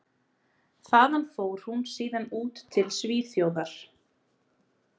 Þaðan fór hún síðan út til Svíþjóðar.